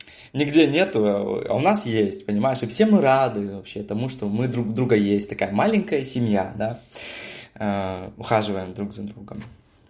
нигде нет а у нас есть понимаешь и все мы рады и тому что мы друг у друга есть такая маленькая семья да ухаживаем друг за другом